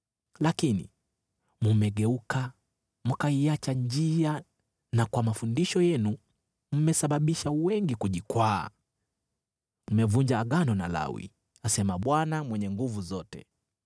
Lakini mmegeuka mkaiacha njia, na kwa mafundisho yenu mmesababisha wengi kujikwaa. Mmevunja agano na Lawi,” asema Bwana Mwenye Nguvu Zote.